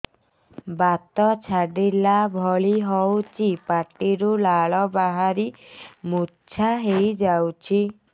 ବାତ ଛାଟିଲା ଭଳି ହଉଚି ପାଟିରୁ ଲାଳ ବାହାରି ମୁର୍ଚ୍ଛା ହେଇଯାଉଛି